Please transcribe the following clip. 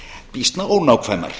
býsna ónákvæmar